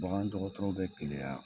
Bagandɔgɔtɔrɔw bɛ keleya.